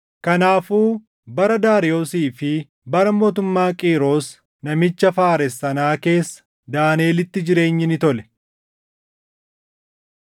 Kanaafuu bara Daariyoosii fi bara mootummaa Qiiros namicha Faares sanaa keessa Daaniʼelitti jireenyi ni tole.